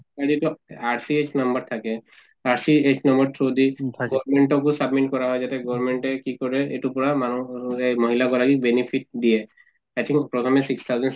এনেতো RCS number থাকে, RCS নংৰ through দি document আকৌ submit কৰা হয় যাতে গৰ্মেন্টে কি কৰে এইটোৰ পৰা মানুহ য়ে মহিলে গৰাকীক benefit দিয়ে। actually প্ৰথমে six thousand six